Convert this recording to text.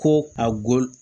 Ko a golo